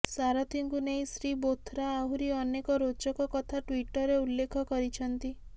ସାରଥିଙ୍କୁ ନେଇ ଶ୍ରୀ ବୋଥ୍ରା ଆହୁରି ଅନେକ ରୋଚକ କଥା ଟ୍ୱିଟର୍ରେ ଉଲ୍ଲେଖ କରିଛନ୍ତି